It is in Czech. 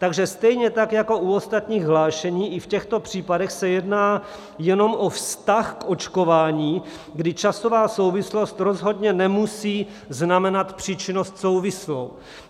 Takže stejně tak jako u ostatních hlášení, i v těchto případech se jedná jenom o vztah k očkování, kdy časová souvislost rozhodně nemusí znamenat příčinnost souvislou.